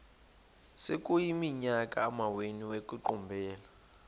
sekuyiminyaka amawenu ekuqumbele